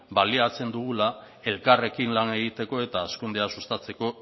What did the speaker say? baliatzen dugula elkarrekin lan egiteko eta hazkundea sustatzeko